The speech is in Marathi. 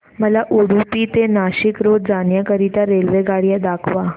मला उडुपी ते नाशिक रोड जाण्या करीता रेल्वेगाड्या दाखवा